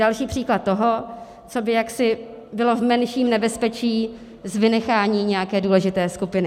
Další příklad toho, co by jaksi bylo v menším nebezpečí s vynecháním nějaké důležité skupiny.